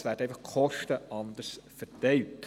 Die Kosten werden lediglich anders verteilt.